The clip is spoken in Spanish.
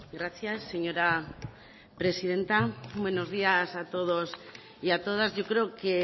gracias señora presidenta buenos días a todos y a todas yo creo que